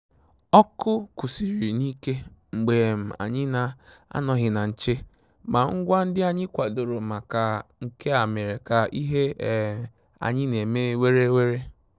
Ọ́kụ́ kwụ́sị́rị̀ n’íké mgbè um ànyị́ nà-ànọ́ghị́ nà nchè, mà ngwá ndị́ ànyị́ kwàdòrò màkà nké á mèrè ká ìhè um ànyị́ n’èmé wéré wéré.